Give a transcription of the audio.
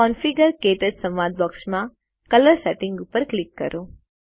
configure - ક્ટચ સંવાદ બોક્સમાં કલર સેટિંગ્સ ઉપર ક્લિક કરો